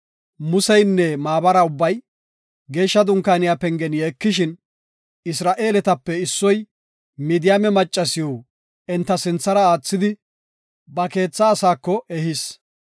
Museynne maabaray ubbay geeshsha dunkaaniya pengen yeekishin, Isra7eeletape issoy Midiyaame maccasiw enta sinthara aathidi, ba keetha asaako ehis.